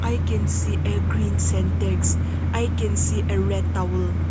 we can see a green syntex i can see a red towel.